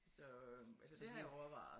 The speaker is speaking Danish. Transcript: Så så det har jeg overvejet